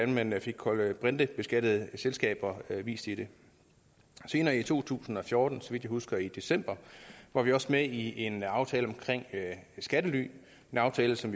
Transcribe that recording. man fik kulbrintebeskattede selskaber vist i den senere i to tusind og fjorten så vidt jeg husker i december var vi også med i en aftale om skattely en aftale som